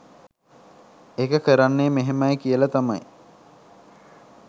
ඒක කරන්නේ මෙහෙමයි කියල තමයි